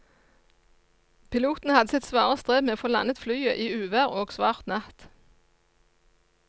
Piloten hadde sitt svare strev med å få landet flyet i uvær og svart natt.